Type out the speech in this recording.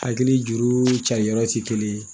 Hakili juru cariyɔrɔ ti kelen yen